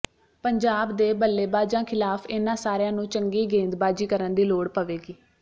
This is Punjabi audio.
ਪੰਜਾਬ ਦੇ ਬੱਲੇਬਾਜ਼ਾਂ ਖ਼ਿਲਾਫ਼ ਇਨ੍ਹਾਂ ਸਾਰਿਆਂ ਨੂੰ ਚੰਗੀ ਗੇਂਦਬਾਜ਼ੀ ਕਰਨ ਦੀ ਲੋੜ ਪਵੇਗੀ